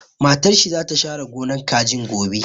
Matar shi za ta share gonar kajin gobe